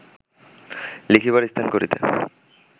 লিখিবার স্থান করিতে